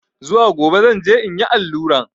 Zuwa gobe zan je in yi alluran.